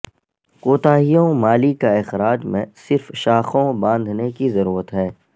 کوتاہیوں مالی کا اخراج میں صرف شاخوں باندھنے کی ضرورت ہے